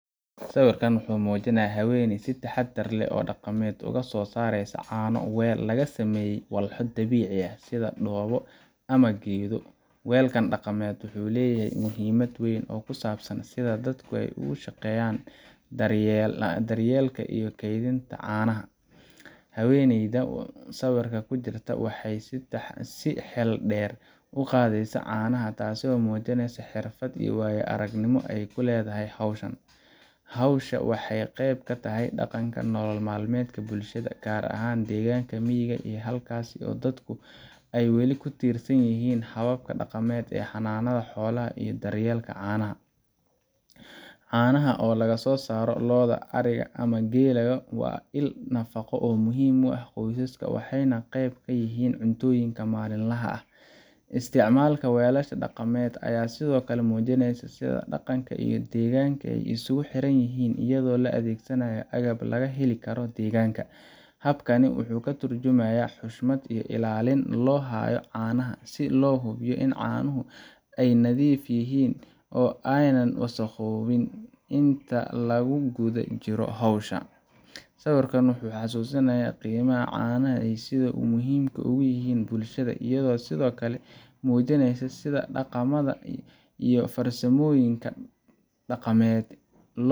Sawirkan waxa uu muujinayaa haweeney si taxadar leh oo dhaqameed uga soo saaraysa caano weel laga sameeyay walxo dabiici ah, sida dhoobo ama geedo. Weelkan dhaqameed wuxuu leeyahay muhiimad weyn oo ku saabsan sida dadku uga shaqeeyaan daryeelka iyo keydinta caanaha. Haweeneyda sawirka ku jirta waxay si xeel dheer u qaadaysaa caanaha, taasoo muujinaysa xirfad iyo waayo-aragnimo ay ku leedahay hawshan. Hawshan waxay qayb ka tahay dhaqanka iyo nolol-maalmeedka bulshada, gaar ahaan deegaanada miyiga ah halkaas oo dadku ay weli ku tiirsan yihiin hababka dhaqameed ee xanaanada xoolaha iyo daryeelka caanaha. Caanaha oo laga soo saaro lo’da, ariga, ama geelku waa il nafaqo oo muhiim u ah qoysaska, waxayna qayb ka yihiin cuntooyinka maalinlaha ah. Isticmaalka weelasha dhaqameed ayaa sidoo kale muujinaya sida dhaqanka iyo deegaanka ay isugu xiranyihiin, iyadoo la adeegsanayo agabka laga heli karo deegaanka. Habkani wuxuu ka tarjumayaa xushmad iyo ilaalin loo hayo caanaha, si loo hubiyo in caanuhu ay nadiif yihiin oo aanay wasakhoobin inta lagu guda jiro howsha. Sawirkan wuxuu xusuusinayaa qiimaha caanaha iyo sida ay muhiimka ugu yihiin bulshada, iyadoo sidoo kale muujinaya sida dhaqamada iyo farsamooyinka dhaqameed loo